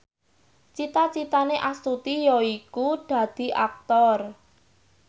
cita citane Astuti yaiku dadi Aktor